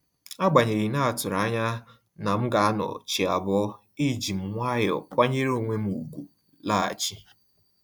Agbanyeghi na-atụrụ anya na m ga anọ chi abọ́, ejim nwayọọ kwanyere onwem ùgwù laghachi